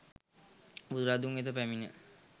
බුදුරදුන් වෙත පැමිණ